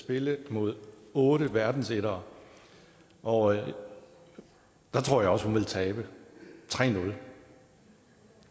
spille mod otte verdensettere og der tror jeg også hun ville tabe tre nul